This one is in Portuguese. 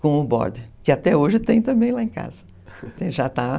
Com o borde, que até hoje tem também lá em casa.